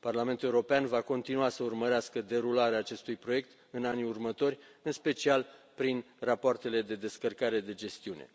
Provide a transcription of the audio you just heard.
Parlamentul European va continua să urmărească derularea acestui proiect în anii următori, în special prin rapoartele de descărcare de gestiune.